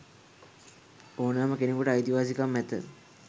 ඕනෑම කෙනකුට අයිතිවාසිකම් ඇත.